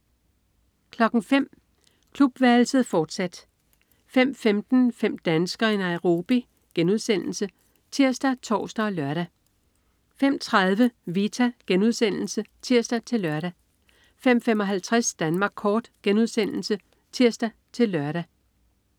05.00 Klubværelset, fortsat 05.15 Fem danskere i Nairobi* (tirs-tors og lør) 05.30 Vita* (tirs-lør) 05.55 Danmark kort* (tirs-lør)